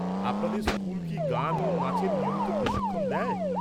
আপনাদের স্কুল কি গান ও নাচের নিয়মিত প্রশিক্ষণ দেয়?